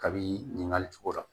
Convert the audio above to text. Kabini ɲininkali cogo rɔ